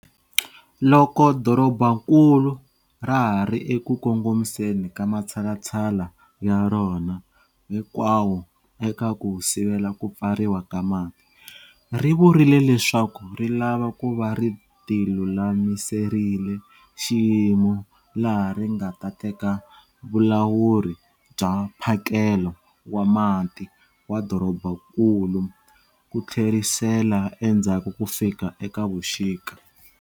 Loko dorobankulu ra ha ri eku kongomiseni ka matshalatshala ya rona hinkwawo eka ku sivela Ku Pfariwa ka Mati, ri vurile leswaku ri lava ku va ri tilulamiserile xiyimo laha ri nga ta teka vulawuri bya mphakelo wa mati wa dorobankulu ku tlherisela endzhaku ku fika eka vuxika.